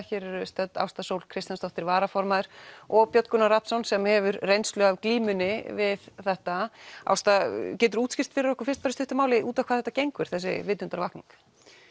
hér eru stödd Ásta Sól Kristjánsdóttir varaformaður og Björn Gunnar Rafnsson sem hefur reynslu af glímunni við þetta Ásta getur þú útskýrt fyrir okkur fyrst í stuttu máli út á hvað þetta gengur þessi vitundarvakning